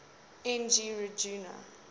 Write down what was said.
n g rjuna